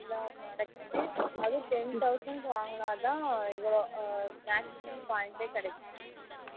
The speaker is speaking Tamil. எல்லா product அதுவும் ten thousand வாங்குனாதான் இவ்வளோ maximum points கிடைக்கும்